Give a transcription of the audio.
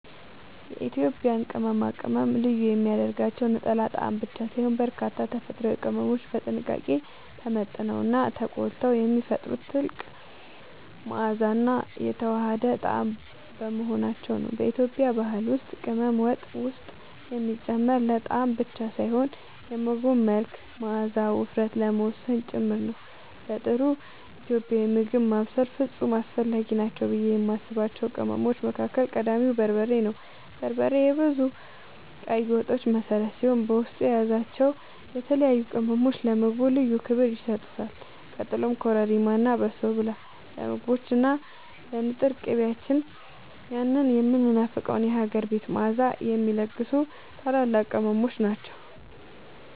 የኢትዮጵያን ቅመማ ቅመም ልዩ የሚያደርገው ነጠላ ጣዕም ብቻ ሳይሆን፣ በርካታ ተፈጥሯዊ ቅመሞች በጥንቃቄ ተመጥነውና ተቆልተው የሚፈጥሩት ጥልቅ መዓዛና የተዋሃደ ጣዕም በመሆናቸው ነው። በኢትዮጵያ ባህል ውስጥ ቅመም ወጥ ውስጥ የሚጨመረው ለጣዕም ብቻ ሳይሆን የምግቡን መልክ፣ መዓዛና ውፍረት ለመወሰን ጭምር ነው። ለጥሩ ኢትዮጵያዊ ምግብ ማብሰል ፍጹም አስፈላጊ ናቸው ብዬ የማስባቸው ቅመሞች መካከል ቀዳሚው በርበሬ ነው። በርበሬ የብዙ ቀይ ወጦች መሠረት ሲሆን፣ በውስጡ የያዛቸው የተለያዩ ቅመሞች ለምግቡ ልዩ ክብር ይሰጡታል። ቀጥሎም ኮረሪማ እና በሶብላ ለምግቦቻችን እና ለንጥር ቅቤያችን ያንን የሚናፈቀውን የሀገር ቤት መዓዛ የሚለግሱ ታላላቅ ቅመሞች ናቸው።